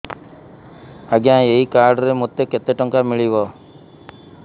ଆଜ୍ଞା ଏଇ କାର୍ଡ ରେ ମୋତେ କେତେ ଟଙ୍କା ମିଳିବ